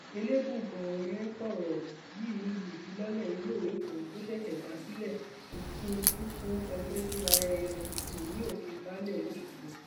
ẹlẹbùúbọn um sọrọ yìí níbi ìfilọlẹ iléèwé kan tó ṣẹṣẹ dá sílẹ ikin tukun comprehensive high um school ní òkè baálé lọsgbọ